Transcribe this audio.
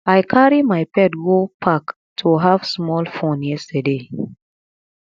i carry my pet go park to have small fun yesterday